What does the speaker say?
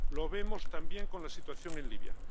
Lo vemos, también, con la situación en Libia.